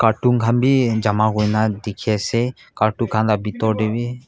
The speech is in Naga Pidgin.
carton khan bhi jama kurina dikhi ase kartu khan la bitor tey bhi.